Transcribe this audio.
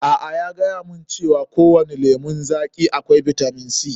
A'a, ya gayamun cewa kowani lemun zaƙi akwai bitamin C.